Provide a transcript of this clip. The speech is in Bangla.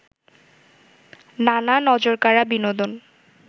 নানা নজরকাড়া বিনোদন